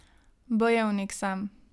Bojevnik sem.